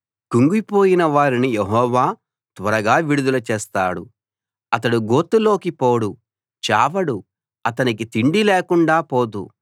కుంగిపోయిన వారిని యెహోవా త్వరగా విడుదల చేస్తాడు అతడు గోతిలోకి పోడు చావడు అతనికి తిండి లేకుండా పోదు